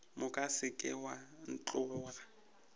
moka se ke wa ntlhoboga